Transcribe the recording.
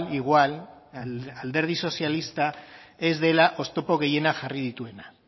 igual alderdi sozialista ez dela oztopo gehienak jarri dituena